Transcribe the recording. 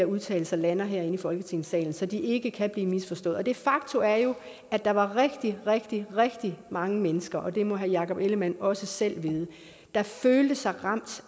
vedtagelse lander herinde i folketingssalen så de ikke kan blive misforstået er et faktum at at der var rigtig rigtig rigtig mange mennesker og det må herre jakob ellemann jensen også selv vide der følte sig ramt